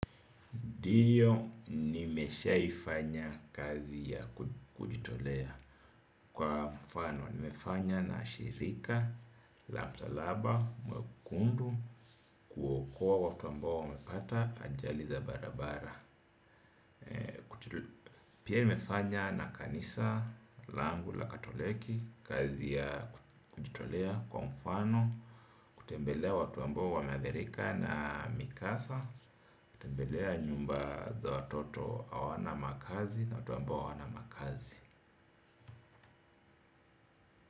Ndiyo nimeshaifanya kazi ya kujitolea kwa mfano. Nimefanya na shirika, la msalaba, mwekundu, kuokoa watu ambao wamepata, ajali za barabara. Pia nimefanya na kanisa, langu, la katoliki, kazi ya kujitolea kwa mfano. Kutembelea watu ambao wameadhirika na mikasa. Tembelea nyumba za watoto hawana makazi na watu ambao hawana makazi.